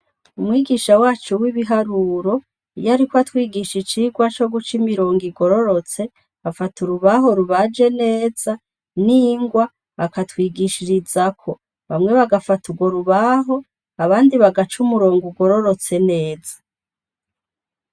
Umwigisha wacu w'ibiharuro iyo, ariko atwigisha icirwa co guca imirongo igororotse afata urubaho rubaje neza n'ingwa akatwigishirizako bamwe bagafata urgorubaho abandi bagaca umurongo ugororotse neza.